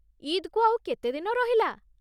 ଇଦ୍‌କୁ ଆଉ କେତେ ଦିନ ରହିଲା?